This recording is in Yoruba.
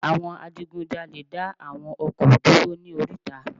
Àwọn adigun jalè dá àwọn ọkọ̀ dúró ní oríta